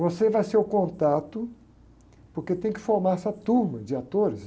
Você vai ser o contato, porque tem que formar essa turma de atores.